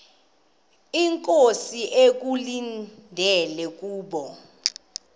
inkosi ekulindele kubo